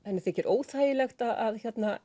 henni þykir óþægilegt að